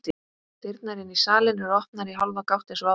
Dyrnar inn í salinn eru opnar í hálfa gátt eins og áður.